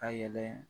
Ka yɛlɛ